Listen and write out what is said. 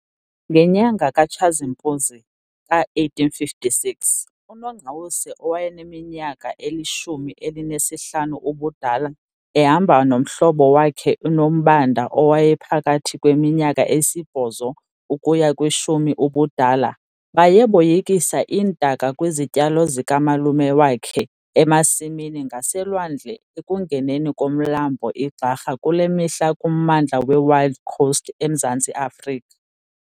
Ngenyanga kaTshazimpuzi ka1856, uNongqawuse owayeneminyaka elishumi elinesihlanu ubudala ehamba nomhlobo wakhe uNombanda owayephakathi kweminyaka esibhozo ukuya kwishumi ubudala, baye boyikisa iintaka kwizityalo zikamalume wakhe emasimini ngaselwandle ekungeneni komlambo iGxarha kule mihla kummandla weWild Coast eMzantsi Afrika.